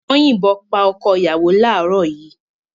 Wọ́n yìnbọn pa ọkọ-ìyàwó láàárọ̀ yìí.